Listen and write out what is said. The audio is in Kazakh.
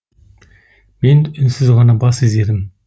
мен үнсіз ғана бас изедім